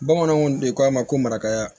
Bamananw de ko a ma ko marakaya